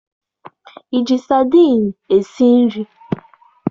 Ị ji sadiin esi nri?